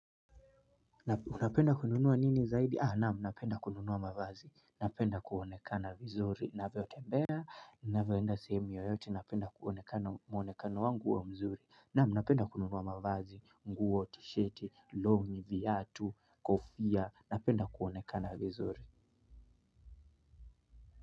Unapenda kununua nini zaidi? Ah, naam napenda kununua mavazi. Napenda kuonekana vizuri. Navyo tembea, navyo enda kuonekana muonekano wangu uwe mzuri naam napenda kununuwa mavazi, nguo tsheti, longi, viatu, kofia. Napenda kuonekana vizuri.